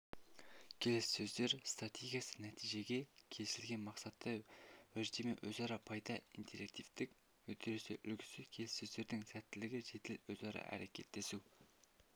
келіссөздер стратегиясы нәтижеге келісілген мақсатты уәждеме өзара пайда интерактивтік үдеріс үлгісі келіссөздердің сәттілігі жедел өзара әрекеттесу